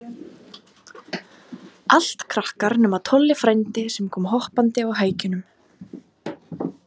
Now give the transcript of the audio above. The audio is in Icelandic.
Allt krakkar, nema Tolli frændi, sem kom hoppandi á hækjunum.